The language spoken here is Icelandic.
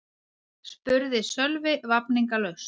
spurði Sölvi vafningalaust.